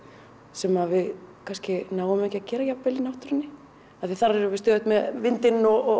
sem við kannski náum ekki að gera jafn vel í náttúrunni af því að þar erum við stöðugt með vindinn og